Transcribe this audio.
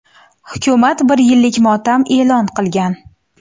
Hukumat bir yillik motam e’lon qilgan.